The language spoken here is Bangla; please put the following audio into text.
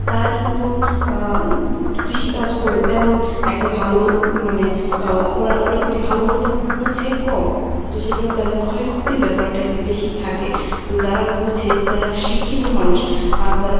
তারা কিন্তু আহ কৃষিকাজ করে তেমন একটা ভালো মানে ও~ ওরা কিন্তু ভালো মন্দ বোঝে কম তো সেকারণে তাাদের ক্ষয় ক্ষতির ব্যাপারটা একটু বেশি থাকে। তো যারা বুঝে যারা শিক্ষিত মানুষ আহ যারা